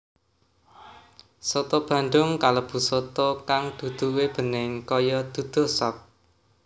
Soto bandung kalebu soto kang duduhé bening kaya duduh sop